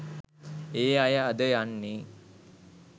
ඒ අය අද යන්නෙ